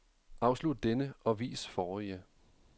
Afslut denne og vis forrige.